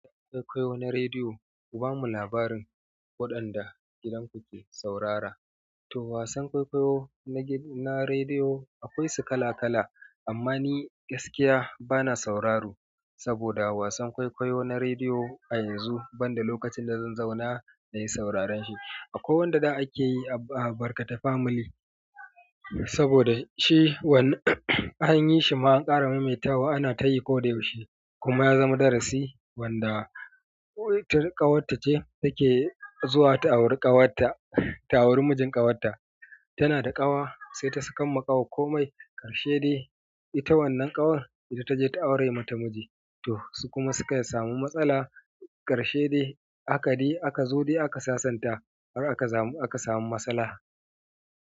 Kwai-kwawo na rediyo, ku bamu labarin waɗanda gidanku ke saurara. To wasan kwaikwayo na rediyo akwai su kala-kala, amma ni gaskiya bana sauraro saboda wasan kwaikwayo na rediyo a yanzu banda lokacin da zan zauna na yi sauraren shi. Akwai wanda za a ke yi a Barkata Family saboda shi an yi shi an ƙara maimaitawa ana ta yi ko da yaushe kuma ya zama darasi wanda ƙawata ce take zuwa ta aure kawarta ta aure mijin kawarta tana da ƙawa sai ta sakan ma kawa ko mai, ƙarshe dai ita wannan ƙawar ita taje ta aure mata miji. Tor su kuma suka samu matsala ƙarshe dai haka aka sasanta aka samu masalha.